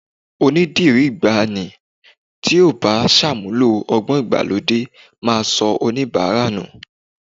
Onídìrí ìgbàanì tí ò bá ṣàmúlò ọgbọ́n ìgbàlódé máa sọ oníbàárà nù